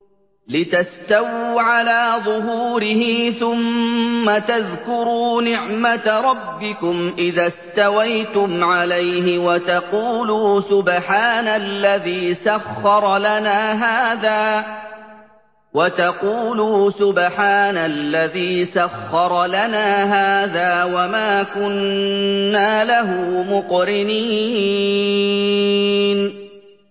لِتَسْتَوُوا عَلَىٰ ظُهُورِهِ ثُمَّ تَذْكُرُوا نِعْمَةَ رَبِّكُمْ إِذَا اسْتَوَيْتُمْ عَلَيْهِ وَتَقُولُوا سُبْحَانَ الَّذِي سَخَّرَ لَنَا هَٰذَا وَمَا كُنَّا لَهُ مُقْرِنِينَ